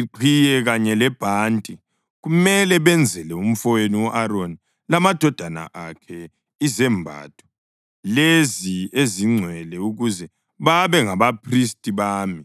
iqhiye kanye lebhanti. Kumele benzele umfowenu u-Aroni lamadodana akhe izembatho lezi ezingcwele ukuze babe ngabaphristi bami.